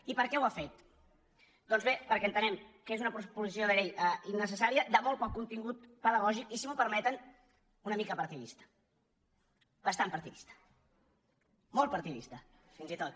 i per què ho ha fet doncs bé perquè entenem que és una proposició de llei innecessària de molt poc contingut pedagògic i si m’ho permeten una mica partidista bastant partidista molt partidista fins i tot